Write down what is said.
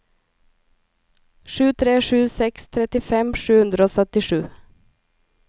sju tre sju seks trettifem sju hundre og syttisju